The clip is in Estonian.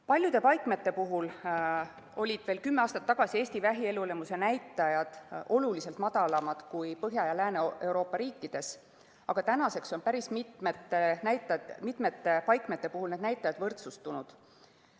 Paljude paikmete puhul olid veel kümme aastat tagasi Eesti vähielulemuse näitajad oluliselt madalamad kui Põhja- ja Lääne-Euroopa riikides, aga tänaseks on päris mitmete paikmete puhul need näitajad võrdsustunud.